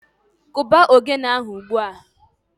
Kụba ogene ahụ ugbua!